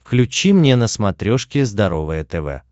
включи мне на смотрешке здоровое тв